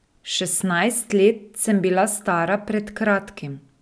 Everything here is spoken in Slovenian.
Šestnajst let sem bila stara pred kratkim.